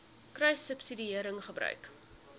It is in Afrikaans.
kruissubsidiëringgebruik